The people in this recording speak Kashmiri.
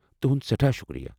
تُہُند سٮ۪ٹھاہ شُکریہ۔